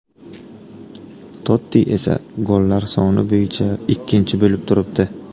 Totti esa gollar soni bo‘yicha ikkinchi bo‘lib turibdi.